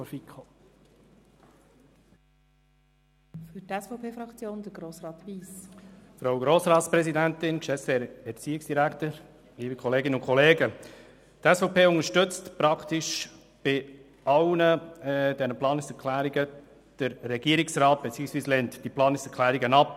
Die SVP unterstützt praktisch bei allen Planungserklärungen den Standpunkt des Regierungsrats und lehnt die Planungserklärungen ab.